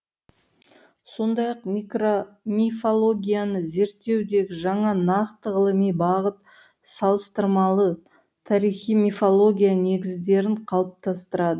сондай ақ мифологияны зерттеудегі жаңа нақты ғылыми бағыт салыстырмалы тарихи мифология негіздерін қалыптастырды